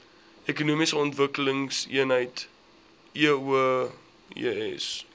ekonomiese ontwikkelingseenhede eoes